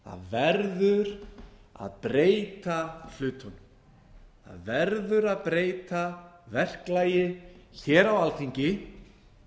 verður að breyta hlutunum það verður að breyta verklagi á alþingi